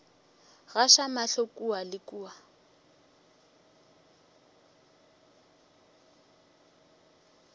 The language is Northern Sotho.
gaša mahlo kua le kua